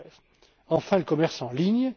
2013. Enfin, le commerce en ligne.